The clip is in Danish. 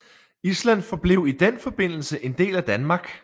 Island forblev i den forbindelse en del af Danmark